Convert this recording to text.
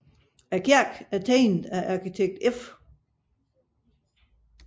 Kirken er tegnet af arkitekt F